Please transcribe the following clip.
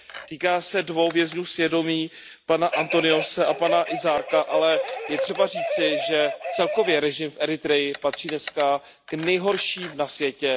Týká se dvou vězňů svědomí, pana Antoniose a pana Isaaka, ale je třeba říci, že celkově režim v Eritreji patří dnes k nejhorším na světě.